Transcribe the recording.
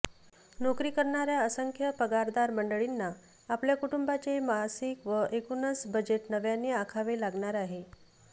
नोकरी करणाऱ्या असंख्य पगारदार मंडळींना आपल्या कुटुंबाचे मासिक व एकूणच बजेट नव्याने आखावे लागणार आहे